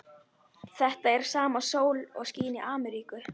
Þetta er sama sólin og skín í Ameríku.